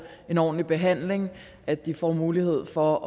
en ordentlig behandling og at de får mulighed for